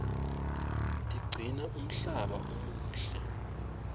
tiqcina umhlaba umuhle